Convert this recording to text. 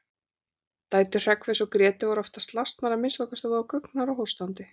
Dætur Hreggviðs og Grétu voru oftast lasnar, að minnsta kosti voða guggnar og hóstandi.